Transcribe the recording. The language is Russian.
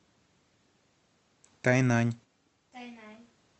тайнань